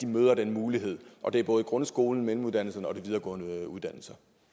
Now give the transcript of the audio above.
møder den mulighed og det er både i grundskolen på mellemuddannelsen og de videregående uddannelser